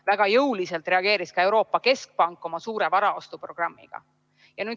Väga jõuliselt reageeris ka Euroopa Keskpank oma suure varaostuprogrammiga.